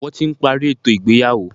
Wọ́n ti parí ètò ìgbéyàwó.